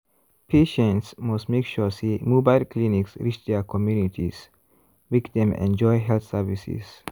patients must make sure say mobile clinics reach their communities make them enjoy health services.